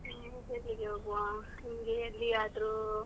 ಎಲ್ಲಿಗೆ ಹೋಗುವ ನಿಮಗೆ ಎಲ್ಲಿಯಾದ್ರೂ.